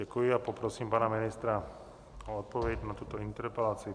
Děkuji a poprosím pana ministra o odpověď na tuto interpelaci.